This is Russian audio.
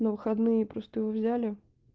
на выходные просто его взяли